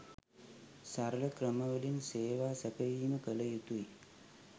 සරල ක්‍රමවලින් සේවා සැපයීම කළ යුතුයි